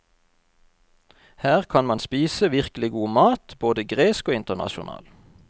Her kan man spise virkelig god mat, både gresk og internasjonal.